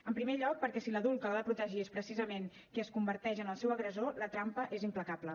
en primer lloc perquè si l’adult que l’ha de protegir és precisament qui es converteix en el seu agressor la trampa és implacable